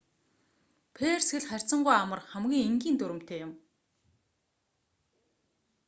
перс хэл харьцангүй амар хамгийн энгийн дүрэмтэй юм